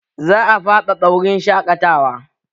Za a faɗaɗa wurin shaƙatawa